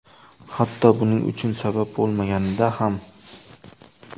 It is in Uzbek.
Hatto buning uchun sabab bo‘lmaganida ham.